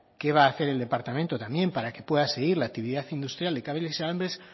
qué va a hacer el departamento también para que pueda seguir la actividad industrial de cables y alambres